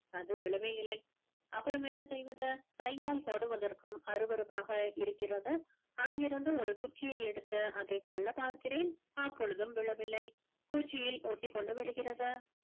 அது விழவே இல்லை அப்புறம் என்ன செய்வது கையால் தொடுவதற்கும் அருவருப்பாக இருக்கிறது அங்கிருந்து ஒரு குச்சியை எடுத்து அதை தள்ளப் பார்க்கிறேன் அப்பொழுதும் விழவில்லை பூச்சியில் ஒட்டிக்கொண்டு விடுகிறது